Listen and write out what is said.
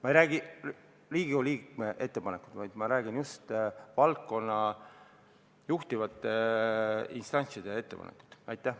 Ma ei räägi Riigikogu liikmete ettepanekutest, vaid ma räägin just valdkonna juhtivate instantside ettepanekutest.